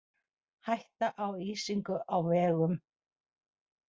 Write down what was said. Hætta á ísingu á vegum